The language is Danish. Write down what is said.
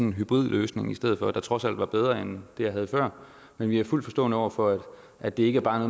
en hybridløsning i stedet for der trods alt var bedre end det jeg havde før men vi er fuldt forstående over for at det ikke bare